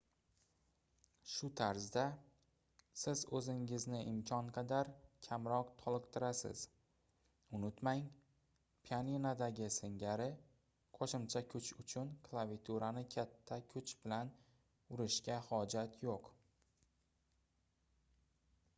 shu tarzda siz oʻzingizni imkon qadar kamroq toliqtirasiz unutmang pianinodagi singari qoʻshimcha kuch uchun klaviaturani katta kuch bilan urishga hojat yoʻq